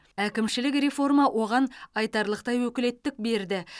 әкімшілік реформа оған айтарлықтай өкілеттік берді